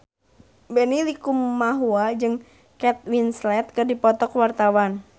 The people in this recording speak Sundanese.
Benny Likumahua jeung Kate Winslet keur dipoto ku wartawan